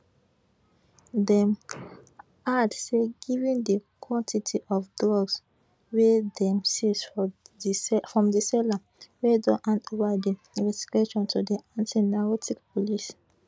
dem add say given di quantity of drugs wey dem seize from di seller we don hand ova di investigation to di antinarcotics police